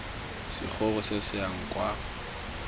segoro se se yang kwa